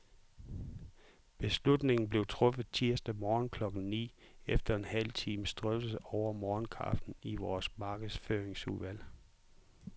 Beslutningen blev truffet tirsdag morgen klokken ni, efter en halv times drøftelse over morgenkaffen i vores markedsføringsudvalg.